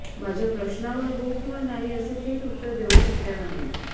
माझ्या प्रश्नांवर हो किंवा नाही असे थेट उत्तर देऊ शकल्या नाहीत